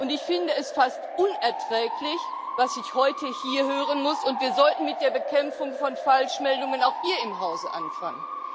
Ich finde es fast unerträglich, was ich heute hier hören muss, und wir sollten mit der Bekämpfung von Falschmeldungen auch hier im Hause anfangen.